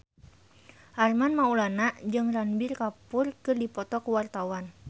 Armand Maulana jeung Ranbir Kapoor keur dipoto ku wartawan